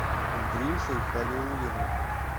андрюшей халиуллиным